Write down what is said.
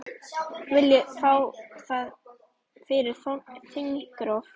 Viljið fá það fyrir þingrof?